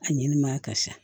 A ɲɛnɛmaya ka sa